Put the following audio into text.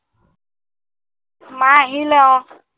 মা আহিলে অ